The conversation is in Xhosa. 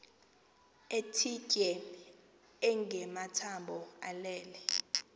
ethitye engamathambo elele